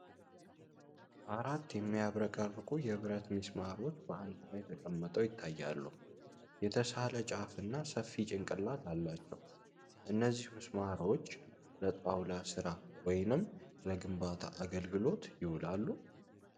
አራት የሚያብረቀርቁ የብረት ምስማሮች በአንድ ላይ ተቀምጠው ይታያሉ፣ የተሳለ ጫፍ እና ሰፊ ጭንቅላት አላቸው። እነዚህ ምስማሮች ለጣውላ ሥራ ወይም ለግንባታ አገልግሎት ይውላሉ?